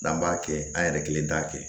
N'an b'a kɛ an yɛrɛ kelen t'a kɛ